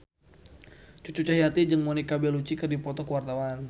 Cucu Cahyati jeung Monica Belluci keur dipoto ku wartawan